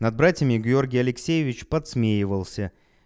над братьями георгий алексеевич подсмеивался